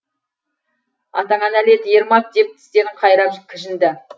атаңа нәлет ермак деп тістерін қайрап кіжінді